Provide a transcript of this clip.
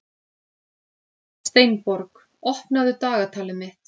Steinborg, opnaðu dagatalið mitt.